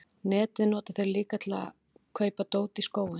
netið nota þeir líka til innkaupa á dóti í skóinn